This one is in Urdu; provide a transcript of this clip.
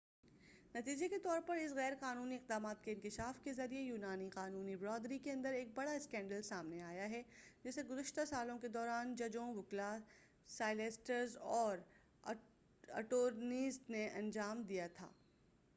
نتیجے کے طور پر اس غیر قانونی اقدامات کے انکشاف کے ذریعہ یونانی قانونی برادری کے اندر ایک بڑا اسکینڈل سامنے آیا ہے جسے گزشتہ سالوں کے دوران ججوں وکلاء سالیسٹرز اور اٹورنیز نے انجام دیا تھا